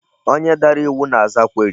Onye dara iwu na-aza query.